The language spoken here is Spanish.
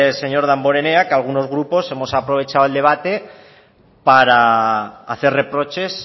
señor damborenea que algunos grupos hemos aprovechado el debate para hacer reproches